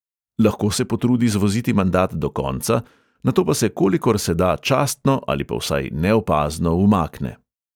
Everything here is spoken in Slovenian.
Lahko se potrudi zvoziti mandat do konca, nato pa se kolikor se da častno ali pa vsaj neopazno umakne.